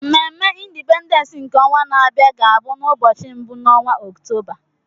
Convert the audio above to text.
Mmemme Indipendens nke ọnwa na-abịa ga bụ n'ubọchị mbụ n'onwa Ọktoba.